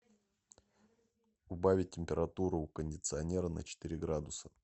убавить температуру у кондиционера на четыре градуса